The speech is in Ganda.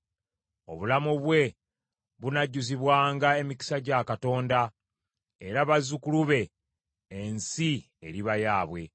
Obulamu bwe bunajjuzibwanga emikisa gya Katonda, era bazzukulu be ensi eriba yaabwe.